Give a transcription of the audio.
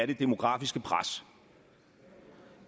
det demografiske pres